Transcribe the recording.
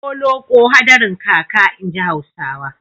Holoƙo hadarin kaka, inji Hausawa.